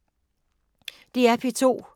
DR P2